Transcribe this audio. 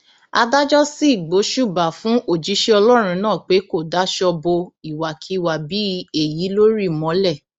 adájọ sì gbóṣùbà fún òjíṣẹ ọlọrun náà pé kó daṣọ bo ìwàkiwà bíi èyí lórí mọlẹ